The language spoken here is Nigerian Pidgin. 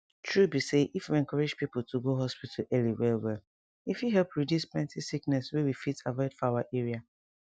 tru be say if we encourage people to go hospital early wellwell e fit help reduce plenty sickness wey we fit avoid for our area